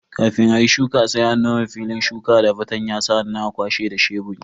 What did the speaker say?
Kafin ayi shuka sai an nome filin shuka da fartanya sannan a kwashe da sheburi.